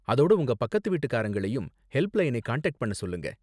அதோட உங்க பக்கத்து வீட்டுக்காரங்களையும் ஹெல்ப்லைனை காண்டாக்ட் பண்ண சொல்லுங்க.